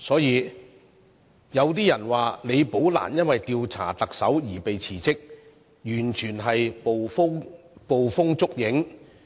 因此，李寶蘭是因為調查特首而"被辭職"的說法，完全是捕風捉影。